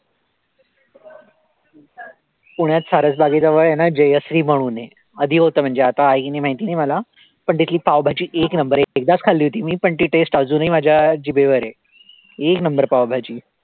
पुण्यात सारस बागेजवळ आहे ना जयश्री म्हणून आहे, आधी होतं म्हणजे आता आहे की नाही माहिती नाही मला. पण तिथली पावभाजी एक number आहे, एकदाच खाल्ली होती मी पण ती taste अजूनही माझ्या जिभेवर आहे, एक number पावभाजी